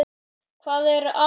Hvað er atóm?